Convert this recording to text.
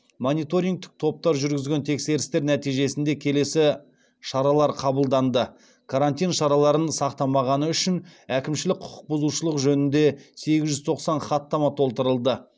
мониторингтік топтар жүргізген тексерістер нәтижесінде келесі шаралар қабылданды карантин шараларын сақтамағаны үшін әкімшілік құқықбұзушылық жөнінде сегіз жүз тоқсан хаттама толтырылды